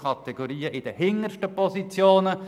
Ich erinnere Sie noch einmal daran: